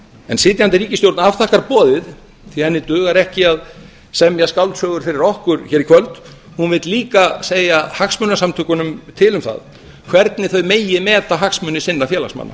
en sitjandi ríkisstjórn afþakkar boðið því henni dugar ekki að semja skáldsögur fyrir okkur hér í kvöld hún vill líka segja hagsmunasamtökunum til um það hvernig þau megi meta hagsmuni sinna félagsmanna